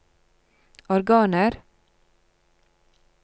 organer